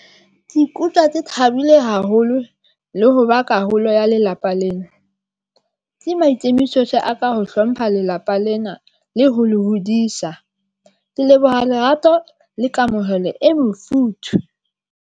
Ke ikutlwa ke thabile haholo le ho ba karolo ya lelapa lena. Ke maikemisetso a ka ho hlompha lelapa lena le ho le hodisa. Ke leboha lerato le kamohelo e mofuthu.